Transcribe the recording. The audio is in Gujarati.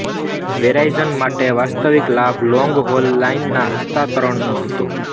વેરાઇઝન માટે વાસ્તવિક લાભ લોંગહોલ લાઇનના હસ્તાંતરણનો હતો